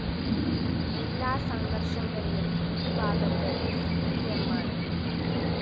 എല്ലാ സംഘര്‍ഷങ്ങളിലും ഒരുഭാഗത്ത് സിപിഎമ്മാണ്